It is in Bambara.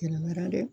Kɛnɛma dɛ